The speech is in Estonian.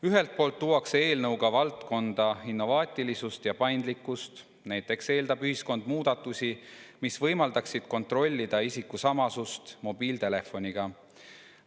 Ühelt poolt tuuakse eelnõuga valdkonda innovaatilisust ja paindlikkust, näiteks eeldab ühiskond muudatusi, mis võimaldaksid kontrollida isikusamasust mobiiltelefoniga.